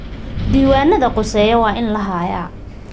Diiwaanada khuseeya waa in la hayaa.